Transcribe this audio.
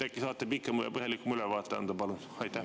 Äkki saate pikema ja põhjalikuma ülevaate anda, palun?